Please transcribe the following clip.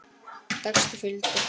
Texti fylgdi.